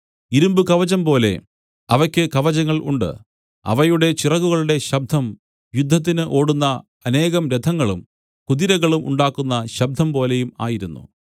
ഇരുമ്പുകവചംപോലെ അവയ്ക്ക് കവചങ്ങൾ ഉണ്ട് അവയുടെ ചിറകുകളുടെ ശബ്ദം യുദ്ധത്തിനു ഓടുന്ന അനേകം രഥങ്ങളും കുതിരകളും ഉണ്ടാക്കുന്ന ശബ്ദംപോലെയും ആയിരുന്നു